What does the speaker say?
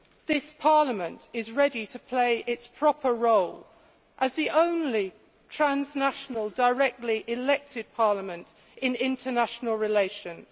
this Parliament is ready to play its proper role as the only transnational, directly elected parliament in international relations.